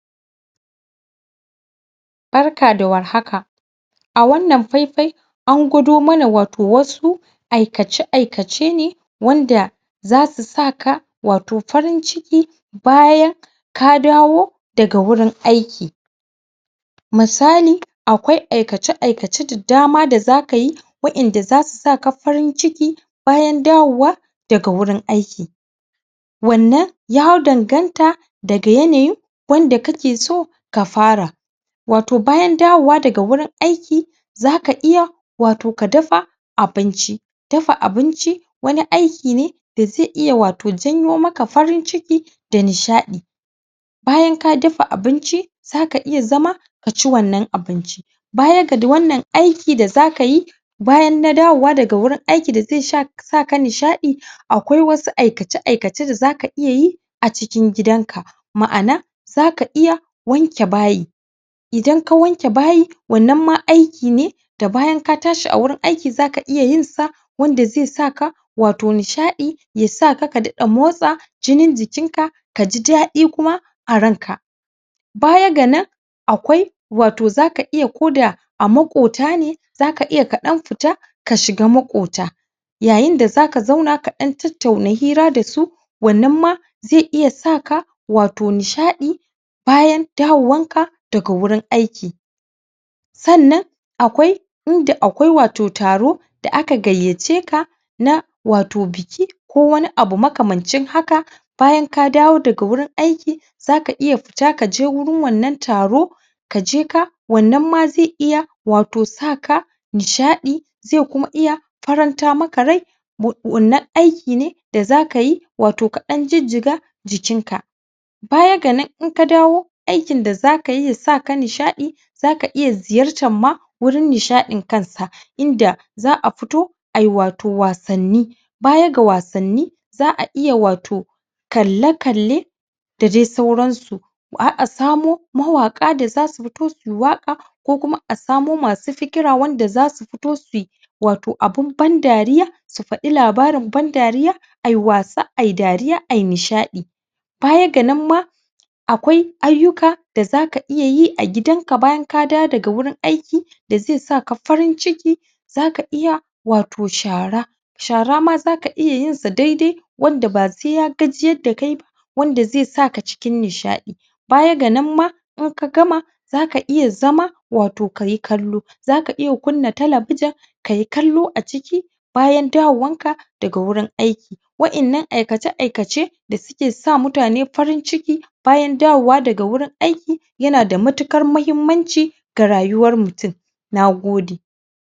barka da warhaka a wannan faifai an gwado mana wato wasu aikace aikace ne wanda zasu zasu saka wato farin ciki bayan ka dawo daga gurin aiki misali akwai aikace aikace da dama da zakayi wa inda zasu saka farin ciki bayan dawowa daga gurin aiki wannan ya danganta daga yanayin wanda kake so ka fara wato bayan dawowa daga gurin aiki zaka iya ka dafa abinci dafa abinci wani aiki ne da zai iya wato janyo maka farin ciki da nishadi bayan ka dafa abinci zaka iya zama kaci wannan abinci baya da wannan aiki da zaka yi bayan da na dawo daga gurin aiki da zai saka nishadi akwai wasu aikace aikace da zaka iya yi acikin gidan ka ma'ana zaka iya wanke bayi idan ka wanke bayi wannan ma aiki ne da bayan ka tashi agurin aiki zaka iya yin sa wanda zai saka wato wato nishadi ya saka ka motsa jinin jikin ka kaji dadi kuma a ranka baya ga nan akwai wato zaka iya koda a makotane zaka iya ka dan fita ka shiga makota yayin da zaka zauna ka dan tattauna hira dasu wannan ma zai iya saka wato nisahadi bayan da wowan ka da gurin aiki sannan akwai inda akwai wato taro da aka gayyace ka na wato biki ko wani abu makamancin haka bayan ka dawo daga gurin aiki zaka iya fita kaje gurin wannan taro ka jeka wannan ma zai iya wato saka nishadi nishadi zai kuma iya faranta maka rai da wannan aiki ne da zakayi ka dan jijjiga jikin ka baya ga nan inka dawo aikin da zakayi yasaka nishadi zaka iya ziyarar gurin nishadin kansa inda za'a fito ayi wato wassani baya ga wasanni za'a wato kalle-kalle da dai sauran su har a samo mawaka da su fito suyi waka ko kuma asamo masu fikira wanda zasu fito suyi wato abun ban dariya su fadi labarin ban dariya ayi wasa ayi dariya ayi nishadi baya ga nan ma akwai ayyuka da zaka iya yi a gidanka bayan ka dawo daga gurin aiki da zai saka farin ciki zaka iya wato shara shara ma zaka iya yinsa daidai wanda ba sai ya gajiyar da kaiba wanda zai saka cikin nishadi baya ga nan ma in ka gama zaka iya zama wato kayi kallo zaka iya kunna talebijin kayi kallo a ciki bayan dawo warka da ga gurin aiki wa innan aikace aikace da suke sa mutane farin ciki bayan dawowa daga gurin aiki yana da matukar muhimmanci da rayuwar mutum nagode